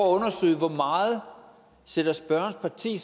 undersøge hvor meget sætter spørgerens parti